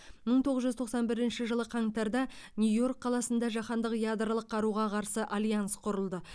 мың тоғыз жүз тоқсан бірінші жылы қаңтарда нью йорк қаласында жаһандық ядролық қаруға қарсы альянс құрылды